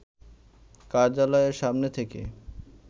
কার্যালয়ের সামনে থেকে